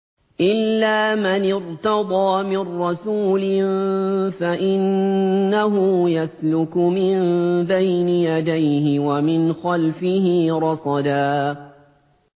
إِلَّا مَنِ ارْتَضَىٰ مِن رَّسُولٍ فَإِنَّهُ يَسْلُكُ مِن بَيْنِ يَدَيْهِ وَمِنْ خَلْفِهِ رَصَدًا